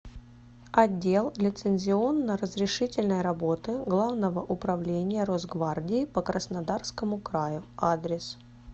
отдел лицензионно разрешительной работы главного управления росгвардии по краснодарскому краю адрес